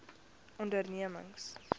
ondernemings